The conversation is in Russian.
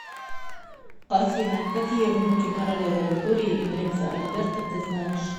афина какие внуки королевы виктории и принца альберта ты знаешь